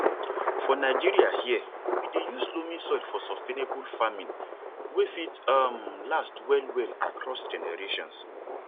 for nigeria here we dey use loamy soil for sustainable farming wey fit um last well well across generations